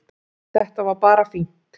Þetta var bara fínt